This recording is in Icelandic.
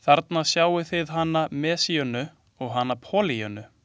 Þarna sjáið þið hana Messíönu og hana Pollýönnu.